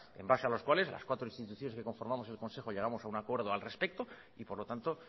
en base a los cuales las cuatro instituciones que conformamos el consejo llegamos a un acuerdo al respecto y por lo tanto